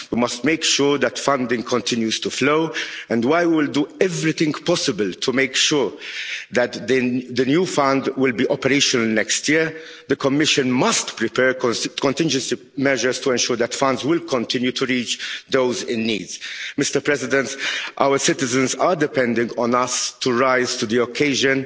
We must make sure that funding continues to flow, and while we will do everything possible to make sure that the new fund will be operational next year, the Commission must prepare contingency measures to ensure that funds will continue to reach those in need. Mr President, our citizens are depending on us to rise to the occasion.